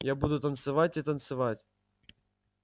я буду танцевать и танцевать